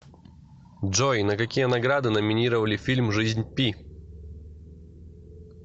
джой на какие награды номинировали фильм жизнь пи